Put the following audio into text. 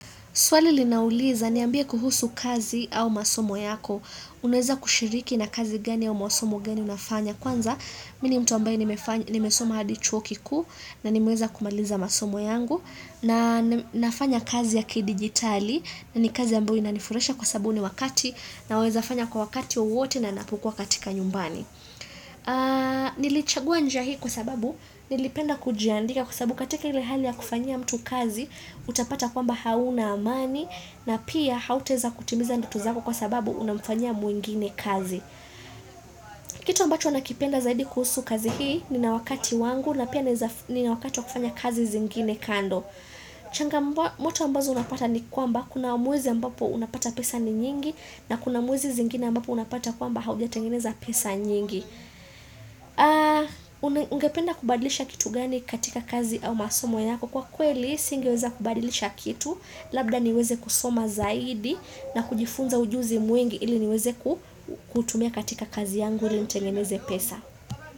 Swali linauliza, niambie kuhusu kazi au masomo yako, unaweza kushiriki na kazi gani au masomo gani unafanya. Kwanza, mimi ni mtu ambaye nimesoma hadi chuo kikuu, na nimeweza kumaliza masomo yangu, na nafanya kazi ya kidijitali, na ni kazi ambayo inanifurahisha kwa sababu huu ni wakati, naweza fanya kwa wakati wowote na ninapokuwa katika nyumbani. Nilichagua njia hii kwa sababu nilipenda kujiandika Kwa sababu katika ile hali ya kufanyia mtu kazi Utapata kwamba hauna amani na pia hautaweza kutimiza ndoto zako kwa sababu unamfanyia mwingine kazi Kitu ambacho nakipenda zaidi kuhusu kazi hii Nina wakati wangu na pia nina wakati wa kufanya kazi zingine kando changamoto ambazo napata ni kwamba Kuna mwezi ambapo unapata pesa ni nyingi na kuna mwezi zingine ambapo unapata kwamba haujatengeneza pesa nyingi Ungependa kubadilisha kitu gani katika kazi au masomo yako Kwa kweli, singeweza kubadilisha kitu Labda niweze kusoma zaidi na kujifunza ujuzi mwingi ili niweze kuutumia katika kazi yangu ili nitengeneze pesa.